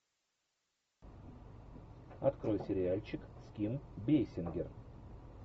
открой сериальчик с ким бейсингер